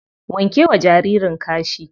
Wanke wa jaririn kashi.